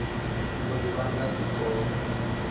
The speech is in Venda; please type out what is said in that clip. uri vha nga si kone